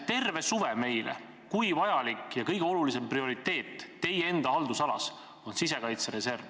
Te rääkisite meile terve suve, et kõige olulisem prioriteet teie haldusalas on sisekaitsereserv.